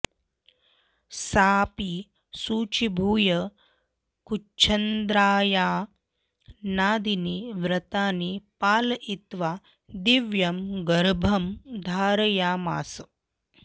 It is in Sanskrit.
साऽपि शुचीभूय कृच्छ्रचान्द्रायाणादीनि व्रतानि पालयित्वा दिव्यं गर्भं धारयामास